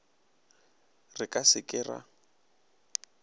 re ka se ke ra